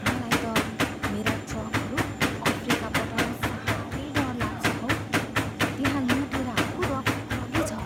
मलाई त मेरा ट्रकहरू अफ्रिका पठाउनु साह्रै डर लाग्छ हौ। त्यहाँ लुटेराहरूको रगरगी छ!